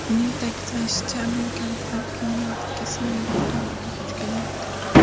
Uning ta’kidlashicha, amerikaliklar qiyin vaqtga, sinovlar davriga duch kelmoqda.